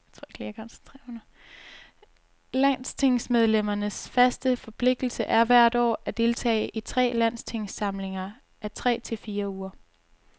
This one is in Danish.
Landstingsmedlemmernes faste forpligtelse er hvert år at deltage i tre landstingssamlinger af tre til fire uger.